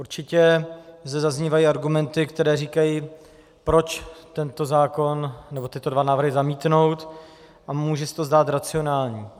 Určitě zde zaznívají argumenty, které říkají, proč tento zákon, nebo tyto dva návrhy zamítnout, a může se to zdát racionální.